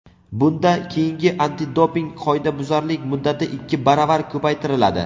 bunda keyingi antidoping qoidabuzarlik muddati ikki baravar ko‘paytiriladi.